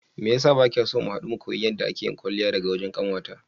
Meyasa bakiso mu hadu mu koyi yadda ake yin kwalliya daga wajen kanwata?